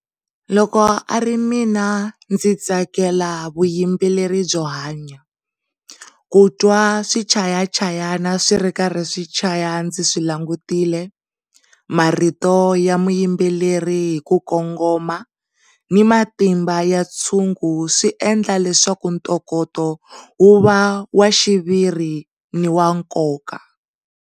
Loko a ri mina ndzi tsakela vuyimbeleri byo hanya. Kutwa swichayachayani swi ri karhi swichaya ndzi swi langutile, marito rito ya muyimbeleri hi ku kongoma ni matimba ya ntshungu swi endla leswaku ntokoto wu va wa xiviri ni wa nkoka.